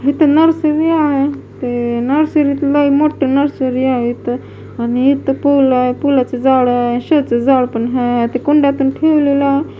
इथे नर्सरी आहे ते नर्सरी त लय मोठं नर्सरी आहे इथं आणि इथं पूल आहे पुला चे झाड आहे शो चं झाड पण आहे ते कुंड्या पण ठेवलेल्या --